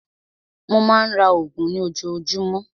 Mó má a ń ra oògùn ní ojoojúmọ́.